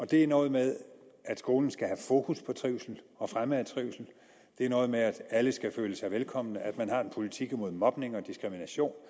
det er noget med at skolen skal have fokus på trivsel og fremme af trivsel det er noget med at alle skal føle sig velkomne at man har en politik imod mobning og diskrimination